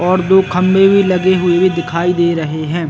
और दो खंभे भी लगे हुए दिखाई दे रहे हैं ।